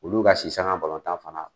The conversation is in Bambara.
Olu ka si sanga balɔntan fana